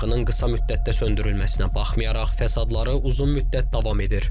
Yanğının qısa müddətdə söndürülməsinə baxmayaraq, fəsadları uzun müddət davam edir.